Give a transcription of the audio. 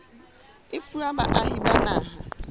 e fuwa baahi ba naha